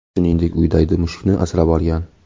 Shuningdek, u daydi mushukni asrab olgan.